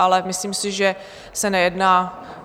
Ale myslím si, že se nejedná...